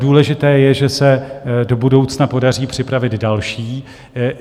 Důležité je, že se do budoucna podaří připravit další.